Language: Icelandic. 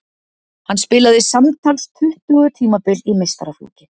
Hann spilaði samtals tuttugu tímabil í meistaraflokki.